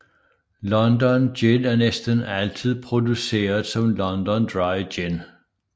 London Gin er næsten altid produceret som London Dry Gin